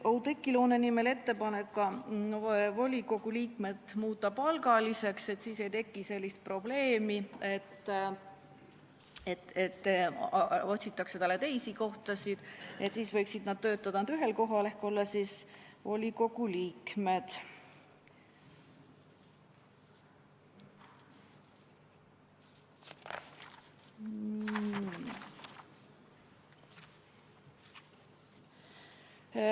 Oudekki Loone nimel tehti ettepanek ka volikogu liikmed muuta palgaliseks, sest siis ei teki sellist probleemi, et otsitakse teisi kohti, sest inimesed võiksid töötada ainult ühel kohal ehk olla volikogu liikmed.